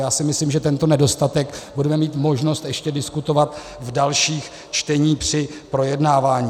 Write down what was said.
Já si myslím, že tento nedostatek budeme mít možnost ještě diskutovat v dalších čteních při projednávání.